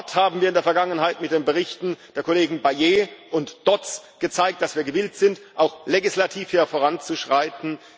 Dort haben wir in der Vergangenheit mit den Berichten der Kollegen Bayet und Dodds gezeigt, dass wir gewillt sind, auch legislativ hier voranzuschreiten.